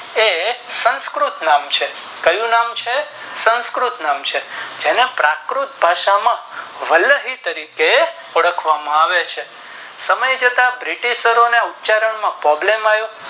એ સંસ્કૃત નામછે ક્યુ નામ છે સંસ્કૃત નામછે જેને પ્રાકૃત ભાષા માં વલ્લભી તરીકે ઓળખવામાં આવે છે સમય જતા બ્રટિશોના ઉચ્ચારણ માં problem આવો